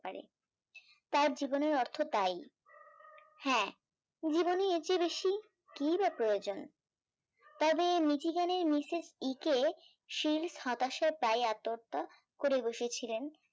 পারে তার জীবনের অর্থ তাই হ্যাঁ জীবনে এর চেয়ে বেশি কি বা প্রয়োজন তবে জীবনের মিসেস ই কে সিল হতাশা প্রায় আন্তহত্যা করে বসেছিলেন